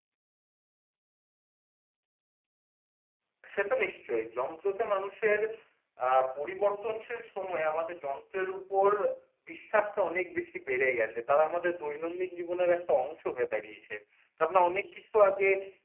সে তো নিশ্চয় যন্ত্র তে মানুষের পরিবর্তনশীল সময়ে আমাদের যন্ত্রের উপর বিশ্বাস টা অনেক বেশী বেড়ে গেছে তারা আমাদের দৈনন্দিন জীবনের একটা অংশ হয়ে দাঁড়িয়েছে ।অনেক কিছু আগে